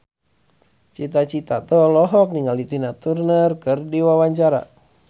Cita Citata olohok ningali Tina Turner keur diwawancara